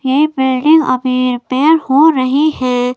ये बिल्डिंग अभी रिपेयर हो रही है।